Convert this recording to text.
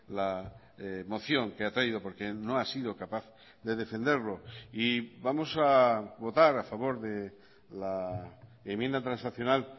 la moción que ha traído porque no ha sido capaz de defenderlo y vamos a votar a favor de la enmienda transaccional